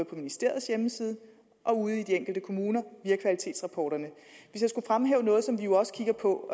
på ministeriets hjemmeside og ude i de enkelte kommuner via kvalitetsrapporterne hvis jeg skulle fremhæve noget som vi jo også kigger på